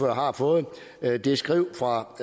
har fået det skrift fra